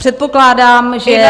Předpokládám, že...